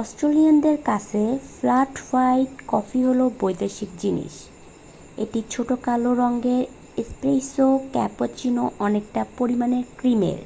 অস্ট্রেলিয়ানদের কাছে 'flat white' coffee হলো বৈদেশিক জিনিস। একটি ছোট কালো রঙের 'এস্প্রেসো' ক্যাপুচিনো অনেকটা পরিমাণে ক্রিমের